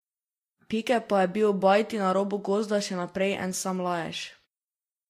Pike pa je bil ob bajti na robu gozda še naprej en sam lajež.